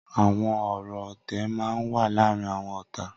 Awọn ọrọ ọtẹ mà n wà làárin awọn ọ̀tá